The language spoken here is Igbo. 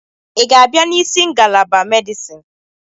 Ị ga-abịa n'isi ngalaba Medisin